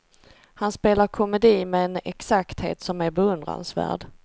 Han spelar komedi med en exakthet som är beundransvärd.